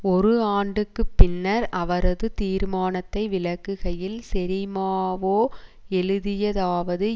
ஒரு ஆண்டுக்கு பின்னர் அவரது தீர்மானத்தை விளக்குகையில் செறிமாவோ எழுதியதாவது